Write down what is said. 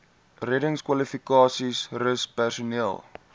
reddingskwalifikasies rus personeel